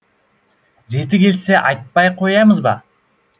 реті келсе айтпай қоямыз ба